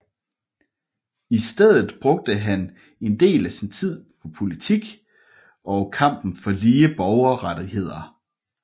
I stedet brugte han en del af sin tid på politik og kampen for lige borgerrettigheder